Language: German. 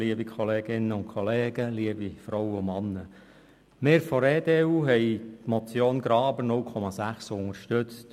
Wir von der EDU-Fraktion hatten die Motion Graber mit den 0,6 unterstützt.